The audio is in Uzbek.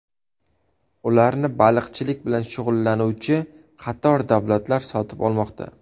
Ularni baliqchilik bilan shug‘ullanuvchi qator davlatlar sotib olmoqda.